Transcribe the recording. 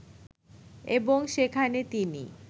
এবং সেখানে তিনি